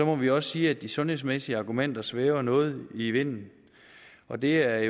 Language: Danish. må vi også sige at de sundhedsmæssige argumenter svæver noget i vinden og det er